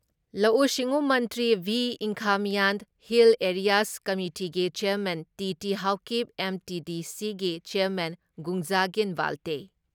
ꯂꯧꯎ ꯁꯤꯡꯎ ꯃꯟꯇ꯭ꯔꯤ ꯚꯤ. ꯏꯪꯈꯥꯃꯤꯌꯥꯟ, ꯍꯤꯜ ꯑꯦꯔꯤꯌꯥꯖ ꯀꯃꯤꯇꯤꯒꯤ ꯆꯦꯌꯥꯔꯃꯦꯟ ꯇꯤ.ꯇꯤ. ꯍꯥꯎꯀꯤꯞ, ꯑꯦꯝ.ꯇꯤ.ꯗꯤ.ꯁꯤꯒꯤ ꯆꯦꯌꯥꯔꯃꯦꯟ ꯚꯨꯡꯖꯥꯒꯤꯟ ꯕꯥꯜꯇꯦ,